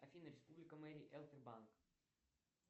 афина республика марий эл т банк